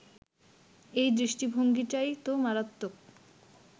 এই দৃষ্টিভঙ্গিটাই তো মারাত্মক